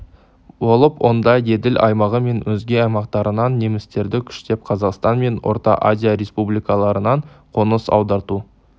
болып онда еділ аймағы мен өзге аймақтарынан немістерді күштеп қазақстан мен орта азия республикаларынан қоныс аударту